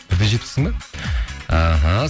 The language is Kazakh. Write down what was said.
бір де жетпіссің бе іхі